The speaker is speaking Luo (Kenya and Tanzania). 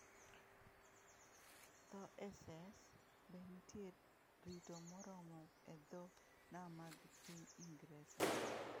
Tho e Essex: Be nitie rito moromo e dho nam mag piny Ingresa?